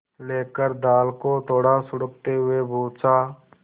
लेकर दाल को थोड़ा सुड़कते हुए पूछा